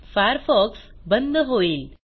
Firefox बंद होईल